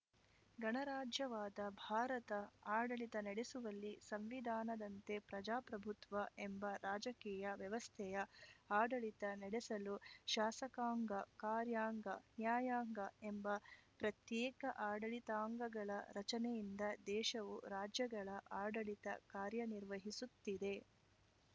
ಗಣರಾಜ್ಯವಾದ ಭಾರತ ಆಡಳಿತ ನಡೆಸುವಲ್ಲಿ ಸಂವಿಧಾನದಂತೆ ಪ್ರಜಾಪ್ರಭುತ್ವ ಎಂಬ ರಾಜಕೀಯ ವ್ಯವಸ್ಥೆಯ ಆಡಳಿತ ನಡೆಸಲು ಶಾಸಕಾಂಗ ಕಾರ್ಯಾಂಗ ನ್ಯಾಯಾಂಗ ಎಂಬ ಪ್ರತ್ಯೇಕ ಆಡಳಿತಾಂಗಗಳ ರಚನೆಯಿಂದ ದೇಶವು ರಾಜ್ಯಗಳ ಆಡಳಿತ ಕಾರ್ಯನಿರ್ವಹಿಸುತ್ತಿದೆ